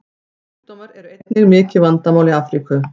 Kynsjúkdómar eru einnig mikið vandamál í Afríku.